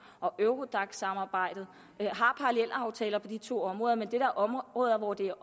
og eurodac samarbejdet og har parallelaftaler på de to områder men det er da områder hvor det